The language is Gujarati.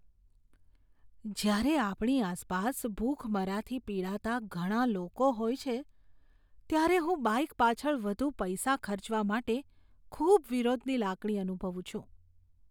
જ્યારે આપણી આસપાસ ભૂખમરાથી પીડાતા ઘણા લોકો હોય છે ત્યારે હું બાઈક પાછળ વધુ પૈસા ખર્ચવા માટે ખૂબ વિરોધની લાગણી અનુભવું છું.